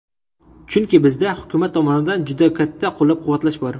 Chunki bizda hukumat tomonidan juda katta qo‘llab-quvvatlash bor.